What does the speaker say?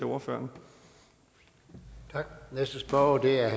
ordfører for for at være